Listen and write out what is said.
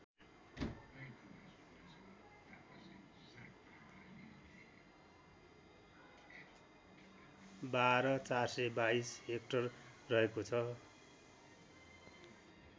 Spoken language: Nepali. १२४२२ हेक्टर रहेको छ